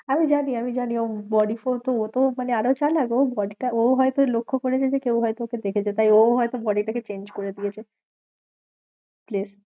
আরে আমি জানি আমি জানি, ও body ও তো মানে আরও চালাক ও body টা ও হয়তো লক্ষ্য করেছে যে কেউ হয়তো ওকে দেখেছে, তাই ওউ হয়তো body টাকে change করে দিয়েছে দিয়ে